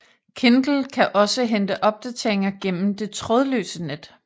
Kindle kan også hente opdateringer igennem de trådløse net